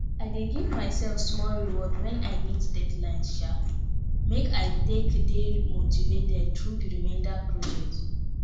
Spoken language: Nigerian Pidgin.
i dey give myself small reward when i meet deadlines um make i take dey motivated through the remainder project